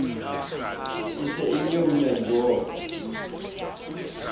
e se e nyeunya diboko